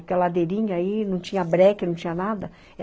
Porque a ladeirinha aí, não tinha breque, não tinha nada.